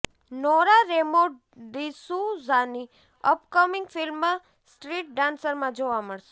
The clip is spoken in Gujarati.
નોરા રેમો ડિસૂઝાની અપકમિંગ ફિલ્મ સ્ટ્રીટ ડાન્સરમાં જોવા મળશે